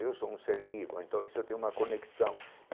Eu sou um ser vivo, então isso tem uma conexão.